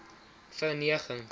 verneging